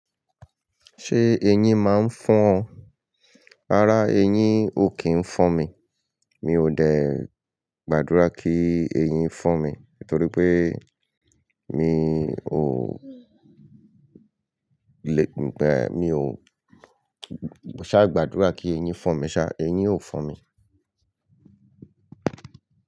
Ṣé eyín máa ń fọn? Rárá, eyín ò kí ń fọn mi. Mi ò dẹ̀ gbàdúrà kí eyín fọn mi, torí pé mi ò le, mi ò ṣá gbàdúrà kí eyín fọn mi ṣá, eyín ò fọn mi.